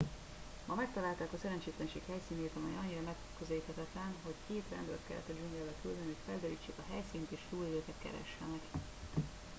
ma megtalálták a szerencsétlenség helyszínét amely annyira megközelíthetetlen hogy két rendőrt kellett a dzsungelbe küldeni hogy felderítsék a helyszínt és túlélőket keressenek